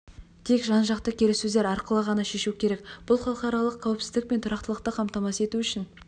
тек жан-жақты келіссөздер арқылы ғана шешу керек бұл халықаралық қауіпсіздік пен тұрақтылықты қамтамасыз ету үшін